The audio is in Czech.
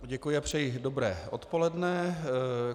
Děkuji a přeji dobré odpoledne.